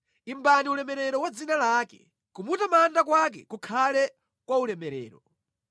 Imbani ulemerero wa dzina lake; kumutamanda kwake kukhale kwaulemerero.